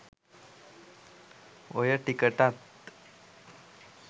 ඔය ටිකටත්